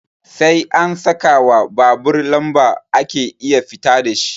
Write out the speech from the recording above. Sai an sakawa babur lamba ake iya fita dashi